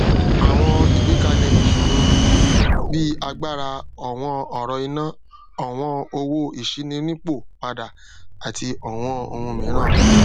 àwọn ìgbékalẹ ìṣoro um bí agbára ọwọn ọrọ iná ọwọn owó ìṣíninípò padà àti ọwọn ohun mìíràn